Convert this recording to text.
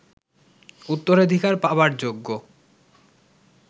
উত্তরাধিকার পাবার যোগ্য